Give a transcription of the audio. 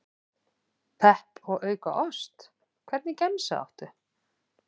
Pepp og auka ost Hvernig gemsa áttu?